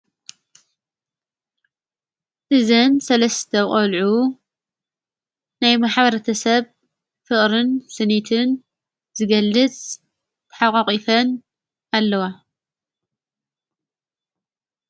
እዝን ሠለስተ ቖልዑ ናይ መሓበረተ ሰብ ፍቕርን ስኒትን ዝገልጽ ተሓዋቒፈን ኣለዋ።